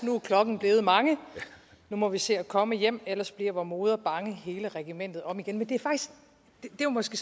nu er klokken blevet mangenu må vi se at komme hjemellers blir vor moder bangehele regimentet om igen det er måske